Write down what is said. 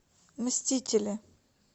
мстители